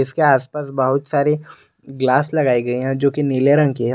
इसके आसपास बहुत सारी ग्लास लगाई गई हैं जोकि नीले रंग की है।